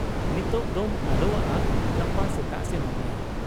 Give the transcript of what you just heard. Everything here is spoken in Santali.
ᱱᱤᱛᱚᱜ ᱫᱚᱢ ᱟᱞᱚᱣᱟᱜ ᱟ, ᱜᱟᱯᱟ ᱥᱮᱛᱟᱜ ᱥᱮᱱᱚᱜ ᱢᱮ ᱾'